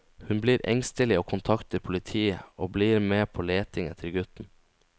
Hun blir engstelig og kontakter politiet og blir med på leting etter gutten.